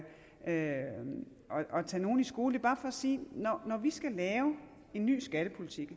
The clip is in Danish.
tage nogen i skole bare for at sige at når vi skal lave en ny skattepolitik